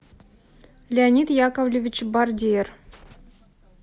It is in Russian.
леонид яковлевич бардиер